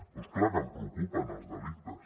però és clar que em preocupen els delictes